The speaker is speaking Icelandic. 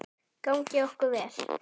Gangi okkur vel.